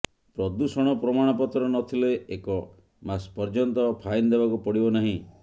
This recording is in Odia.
ପ୍ରଦୂଷଣ ପ୍ରମାଣପତ୍ର ନଥିଲେ ଏକ ମାସ ପର୍ଯ୍ୟନ୍ତ ଫାଇନ ଦେବାକୁ ପଡ଼ିବ ନାହିଁ